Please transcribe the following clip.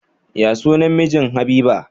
Ya sunan mijin habiba?